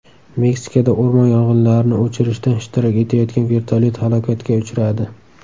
Meksikada o‘rmon yong‘inlarini o‘chirishda ishtirok etayotgan vertolyot halokatga uchradi.